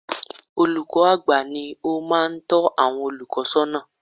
Olùkọ́ àgbà ni ó máa ń tọ́ àwọn olùkọ́ sọ́nà